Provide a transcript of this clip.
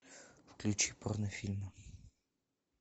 включи порнофильмы